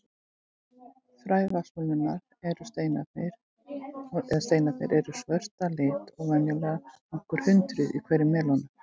Fræ vatnsmelónunnar, eða steinarnir, eru svört að lit og venjulega nokkur hundruð í hverri melónu.